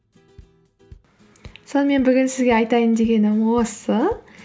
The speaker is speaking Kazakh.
сонымен бүгін сізге айтайын дегенім осы